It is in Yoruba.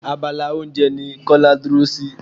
Abala oúnjẹ ní Kọ́lá dúró sí.